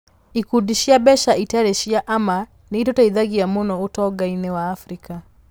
Ikundi cia mbeca itarĩ cia ama nĩ itũteithagia mũno ũtonga-inĩ wa Afrika.